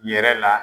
Yɛrɛ la